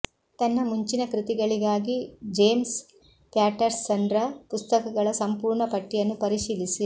ತನ್ನ ಮುಂಚಿನ ಕೃತಿಗಳಿಗಾಗಿ ಜೇಮ್ಸ್ ಪ್ಯಾಟರ್ಸನ್ರ ಪುಸ್ತಕಗಳ ಸಂಪೂರ್ಣ ಪಟ್ಟಿಯನ್ನು ಪರಿಶೀಲಿಸಿ